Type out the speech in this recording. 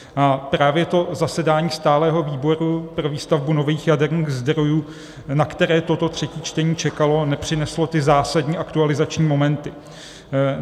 A právě to zasedání stálého výboru pro výstavbu nových jaderných zdrojů, na které toto třetí čtení čekalo, nepřineslo ty zásadní aktualizační momenty.